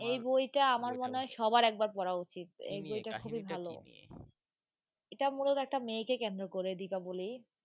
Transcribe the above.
এই বইটা সবার একবার পড়া উচিত এটা মুলত একটা মেয়েকে কেন্দ্র করে দীপাবলি,